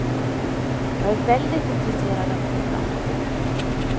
Jag är väldigt intresserad av båtar.